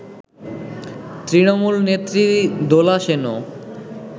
তৃণমূল নেত্রী দোলা সেনও